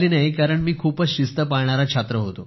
कारण मी खूपच शिस्त पाळणारा छात्र होतो